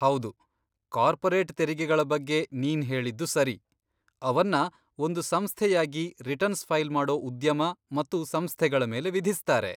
ಹೌದು, ಕಾರ್ಪೊರೇಟ್ ತೆರಿಗೆಗಳ ಬಗ್ಗೆ ನೀನ್ ಹೇಳಿದ್ದು ಸರಿ, ಅವನ್ನ ಒಂದು ಸಂಸ್ಥೆಯಾಗಿ ರಿಟರ್ನ್ಸ್ ಫೈಲ್ ಮಾಡೋ ಉದ್ಯಮ ಮತ್ತು ಸಂಸ್ಥೆಗಳ ಮೇಲೆ ವಿಧಿಸ್ತಾರೆ.